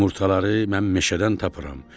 Yumurtaları mən meşədən tapıram.